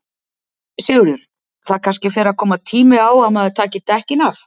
Sigurður: Það kannski fer að koma tími á að maður taki dekkin af?